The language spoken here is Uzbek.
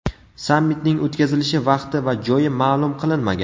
Sammitning o‘tkazilishi vaqti va joyi ma’lum qilinmagan.